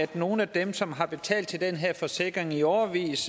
til nogle af dem som har betalt til den her forsikring i årevis